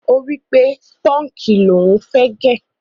Ó wípé punki ni ò ń fẹ́ gẹ́.